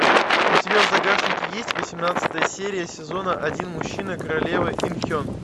у тебя в загашнике есть восемнадцатая серия сезона один мужчина королевы ин хен